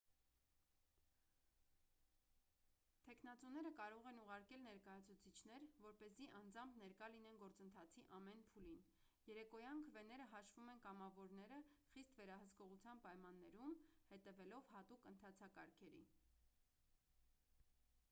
թեկնածուները կարող են ուղարկել ներկայացուցիչներ որպեսզի անձամբ ներկա լինեն գործընթացի ամեն փուլին երեկոյան քվեները հաշվում են կամավորները խիստ վերահսկողության պայմաններում հետևելով հատուկ ընթացակարգերի